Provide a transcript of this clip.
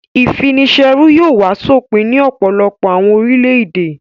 Ìfini-ṣẹrú yóò wá sópin ní ọ̀pọ̀lọpọ̀ àwọn orílẹ̀-èdè.